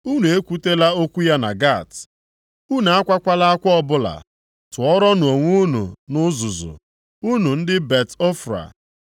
Unu ekwutela okwu ya na Gat; unu akwakwala akwa ọbụla. Tụrụọnụ onwe unu nʼuzuzu, unu ndị Bet-Ofra. + 1:10 Bet-Ofra Maọbụ, Bet-Leafra nke pụtara ụlọ uzuzu